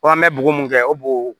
an bɛ bugun kɛ o boo